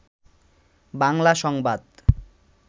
বাংলা সংবাদ